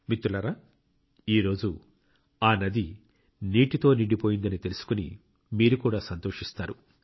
మిత్రులారా ఈ రోజు ఆ నది నీటితో నిండిపోయిందని తెలుసుకొని మీరు కూడా సంతోషిస్తారు